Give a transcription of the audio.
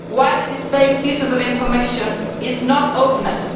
Widely displaying pieces of information is not openness.